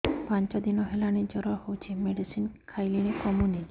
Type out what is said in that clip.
ପାଞ୍ଚ ଦିନ ହେଲାଣି ଜର ହଉଚି ମେଡିସିନ ଖାଇଲିଣି କମୁନି